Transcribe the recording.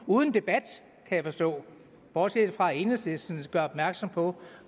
uden debat kan jeg forstå bortset fra at enhedslisten gør opmærksom på